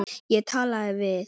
Ég talaði við